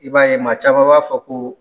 I b'a ye ma caman b'a fɔ koo